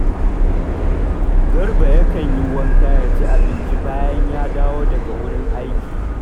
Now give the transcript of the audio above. Garba yakan yi wanka ya ci abinci bayan ya dawo daga wurin aiki